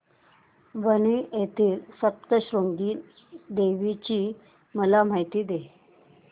वणी येथील सप्तशृंगी देवी ची मला माहिती दे